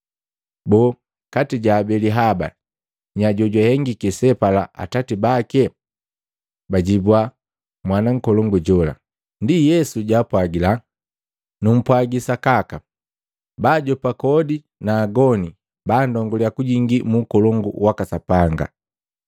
Boo, kati ja abeli haba nya jojwahengiki sebapala atati bake? Bajibwa, “Mwana nkolongu jola.” Ndi Yesu jwaapwagila, Ndi Yesu jwaapwagila, “Numpwagi sakaka, baajopa kodi na agoni banndonguliya kujingi mu ukolongu waka Sapanga.